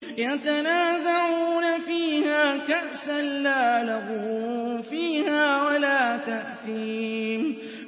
يَتَنَازَعُونَ فِيهَا كَأْسًا لَّا لَغْوٌ فِيهَا وَلَا تَأْثِيمٌ